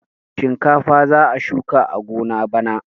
Shinkafa za a shuka a gona bana.